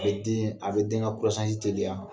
A bɛ deen a bɛ den ka teliya.